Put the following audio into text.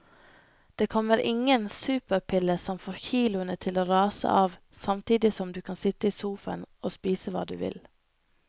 Det kommer ingen superpille som får kiloene til å rase av samtidig som du kan sitte i sofaen og spise hva du vil.